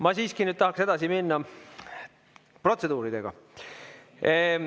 Ma siiski nüüd tahaksin edasi minna protseduuridega.